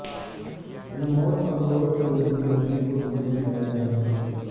remote control کے ذریعے قیدیوں کو زندہ جلایا گیا